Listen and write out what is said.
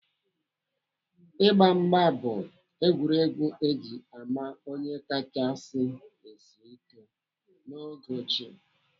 Ịgba mgba bụ egwuregwu eji ama onye kachasị sịe ike n'oge ochie.